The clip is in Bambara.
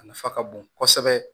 A nafa ka bon kosɛbɛ